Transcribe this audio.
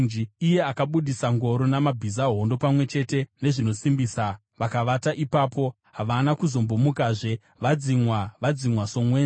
iye akabudisa ngoro namabhiza, hondo pamwe chete nezvinosimbisa, vakavata ipapo, havana kuzombomukazve, vadzimwa, vadzimwa somwenje: